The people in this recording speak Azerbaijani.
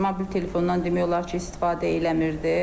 Mobil telefondan demək olar ki, istifadə eləmirdi.